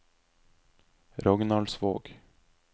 Rognaldsvåg